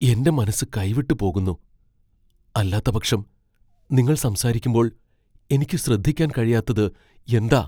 എന്റെ മനസ്സ് കൈവിട്ട് പോകുന്നു, അല്ലാത്തപക്ഷം, നിങ്ങൾ സംസാരിക്കുമ്പോൾ എനിക്ക് ശ്രദ്ധിക്കാൻ കഴിയാത്തത് എന്താ?